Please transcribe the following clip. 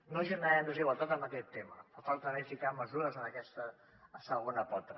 no generem desigualtat en aquest tema falta també ficar mesures en aquesta segona pota